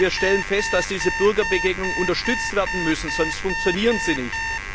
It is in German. Wir stellen fest, dass diese Bürgerbegegnungen unterstützt werden müssen, sonst funktionieren sie nicht.